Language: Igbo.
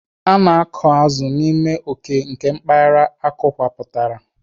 A na-akọ azụ n'ime oke nke mpaghara akọwapụtara.